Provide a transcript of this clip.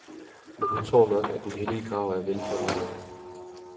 Men hun tror nok, at den hellige grav er velforvaret.